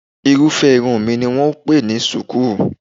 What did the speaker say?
Irúfẹ́ irun mi ni wọ́n ń pè ní ṣùkú